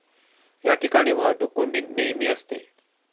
या ठिकाणी वाहतूक कोंडी नेहमी असते.